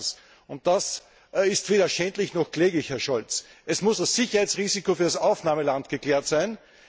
Erstens und das ist weder schändlich noch kläglich, Herr Scholz muss das Sicherheitsrisiko für das Aufnahmeland geklärt sein.